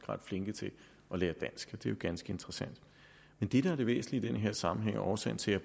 ret flinke til at lære dansk det er jo ganske interessant det der er det væsentlige i den her sammenhæng og årsagen til at